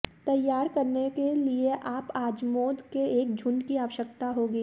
तैयार करने के लिए आप अजमोद के एक झुंड की आवश्यकता होगी